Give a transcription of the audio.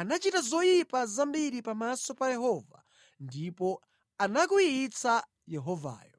anachita zoyipa zambiri pamaso pa Yehova ndipo anakwiyitsa Yehovayo.